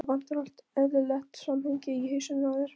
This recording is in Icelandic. Það vantar allt eðlilegt samhengi í hausinn á þér.